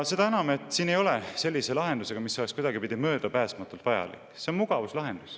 Seda enam, et siin ei ole selline lahendus, mis oleks kuidagipidi möödapääsmatult vajalik, see on mugavuslahendus.